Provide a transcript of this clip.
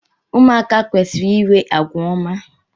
ụmụaka kwesịrị inwe àgwà ọma